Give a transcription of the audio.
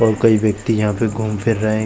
और कई व्यक्ति यहाँ पे घूम-फिर रहे हैं।